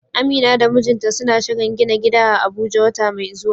Amina da mijinta suna shirin gina gida a Abuja wata mai zuwa.